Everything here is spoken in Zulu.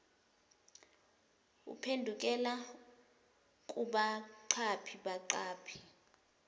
uphendukela kubaqaphi baqaphi